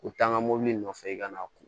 U taa n ka mɔbili nɔfɛ i kana